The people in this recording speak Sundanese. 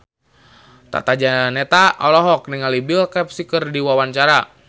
Tata Janeta olohok ningali Bill Cosby keur diwawancara